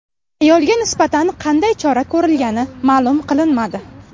Ayolga nisbatan qanday chora ko‘rilgani ma’lum qilinmadi.